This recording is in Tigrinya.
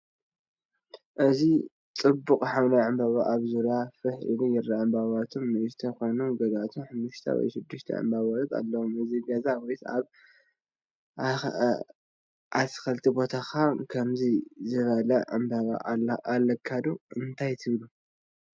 እዚ ጽብቕቲ ሐምላይ ዕምባባ ኣብ ዙርያ ፋሕ ኢሉ ይርአ። ዕምባባታቶም ንኣሽቱ ኮይኖም፡ ገሊኦም ሓሙሽተ ወይ ሽዱሽተ ዕምባባታት ኣለዎም። ኣብ ገዛኻ ወይ ኣብ ኣትክልቲ ቦታካ ከምዚ ዝበለ ዕምባባ ኣለካ ድዩ? እንታይ ትብሉ?